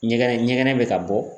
Ɲɛgɛnɛ ɲɛgɛ bɛ ka bɔ.